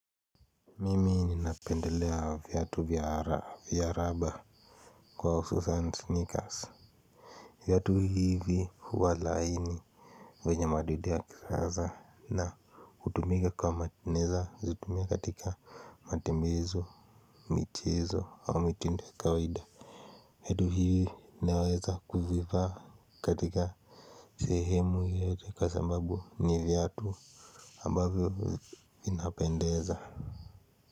Mimi ninapendelea vyatu vyara vyaraba kwa hususan sneakers viatu hivi huwa laini vyenye madoido ya kisasa na hutumika katika naeza kutumia katika matumizo michezo au mitindo ya kawaida viatu hivi naweza kuvivaa katika sehemu yoyote kwa sababu ni viatu ambavyo vinapendeza. Kwa hivyo.